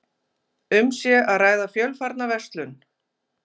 Um sé að ræða fjölfarna verslun